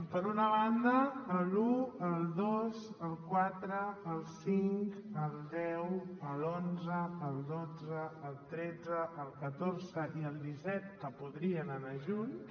per una banda l’un el dos el quatre el cinc el deu l’onze el dotze el tretze el catorze i el disset que podrien anar junts